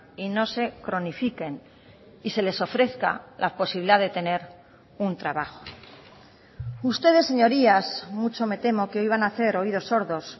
y no se cronifiquen y se les ofrezca la posibilidad de tener un trabajo ustedes señorías mucho me temo que hoy van a hacer oídos sordos